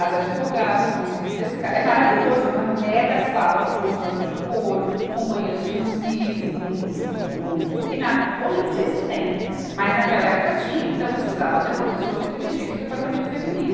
as advogadas vão se refrescar, é maravilhoso, é uma mega sala com poltronas de couro, com banheiro exclusivo, com, um, e na, hoje eu não sei se tem, mas naquela época tinha, então precisava ter uma pessoa que dirigisse o departamento feminino.